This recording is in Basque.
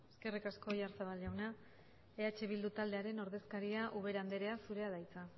eskerrik asko oyarzabal jauna eh bildu taldearen ordezkaria ubera anderea zurea da hitza